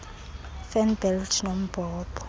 fan belt nombhobho